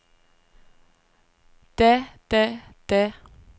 da da da